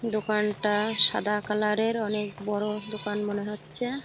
দোকানটা সাদা কালার -এর। অনেক বড়ো দোকান মনে হচ্ছে।